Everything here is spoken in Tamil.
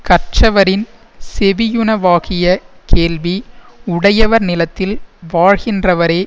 கற்றவரின் செவியுணவாகிய கேள்வி உடையவர் நிலத்தில் வாழ்கின்றவரே